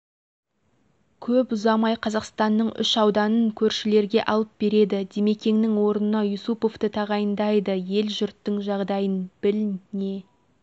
көп ұзамай қазақстанның үш ауданын көршілерге алып береді димекеңнің орнына юсуповты тағайындайды ел-жұрттың жағдайын біл не